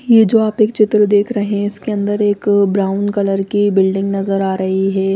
ये जो आप एक चित्र देख रहे हैं इसके अंदर एक ब्राउन कलर की बिल्डिंग नजर आ रही है ।